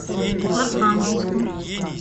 архангельску